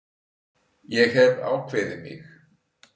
Ég hef ákveðið mig.